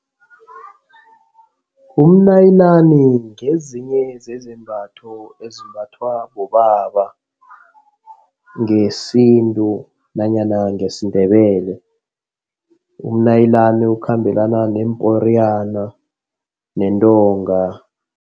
Umnayilani ngezinye zezembatho ezimbathwa bobaba ngesintu nanyana ngesiNdebele. Umanayilani ukhambelana neemporiyana nentonga.